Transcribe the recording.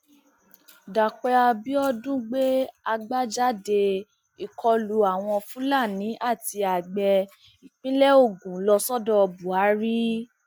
dápò abiodun gbé àbájáde ìkọlù àwọn fúlàní àti agbe ìpínlẹ ogun lọ sọdọ buhari